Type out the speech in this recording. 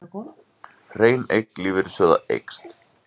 Hrein eign lífeyrissjóða eykst